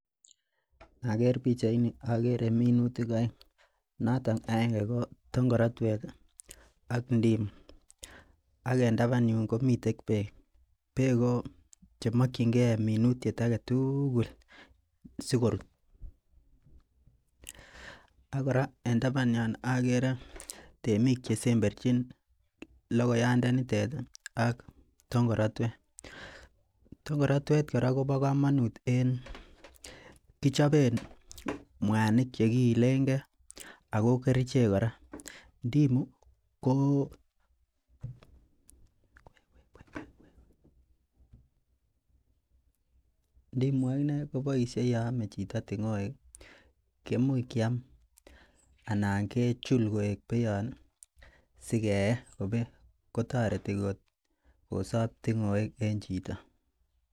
Inoker pichait ni okere minutik oeng noton aenge ko tongaratwet ih ak ndimu ak en taban yun komiten beek, beek ko chemokyingee minutiet aketugul sikorut ak kora en taban yon okere temik chesemberchin logayandanitet ih ak tongaratwet. Tongaratwet kora kobo komonut en kichoben mwanik chekiilen gee ako kerichek kora. ndimu ko ndimu akinee koboisie yon ome chito tung'oek keimuch kiam anan kechul koik beiyon ih sikeyee ko beek ko toreti kot kosob tung'oek en chito